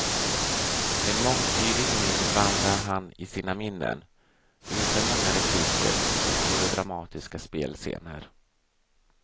Med mångtydig min vandrar han i sina minnen, utan många repliker, med få dramatiska spelscener.